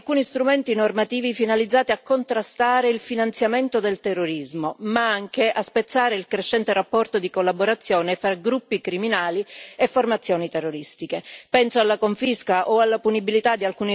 La direttiva consegna poi agli Stati membri alcuni strumenti normativi finalizzati a contrastare il finanziamento del terrorismo, ma anche a spezzare il crescente rapporto di collaborazione fra gruppi criminali e formazioni terroristiche.